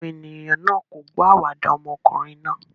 Àwọn ènìyàn náà kò gbọ́ àwàdà ọmọkùnrin náà.